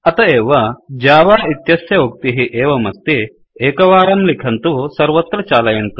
अत एव जावा इत्यस्य उक्तिः एवमस्ति एकवारं लिखन्तु सर्वत्र चालयन्तु